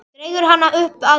Dregur hana upp að sér.